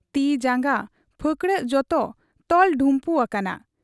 ᱛᱤ ᱡᱟᱝᱜᱟ, ᱯᱷᱟᱹᱠᱬᱟᱹᱜ ᱡᱚᱛᱚ ᱛᱚᱞ ᱰᱷᱩᱢᱯᱩ ᱟᱠᱟᱱᱟ ᱾